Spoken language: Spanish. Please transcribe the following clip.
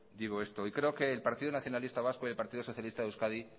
digo esto y creo que el partido nacionalista vasco y el partido socialista de euskadi